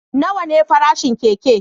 Nawa ne farashin keke?